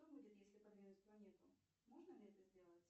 что будет если подвинуть планету можно ли это сделать